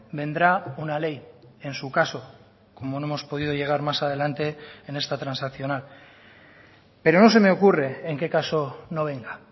vendrá una ley en su caso como no hemos podido llegar más adelante en esta transaccional pero no se me ocurre en qué caso no venga